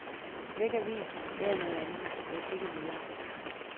Læg avisen, lav noget andet, læs ikke videre.